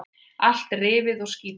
Allt rifið og skítugt.